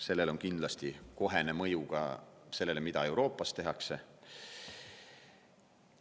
Sellel on kindlasti kohene mõju ka sellele, mida Euroopas tehakse.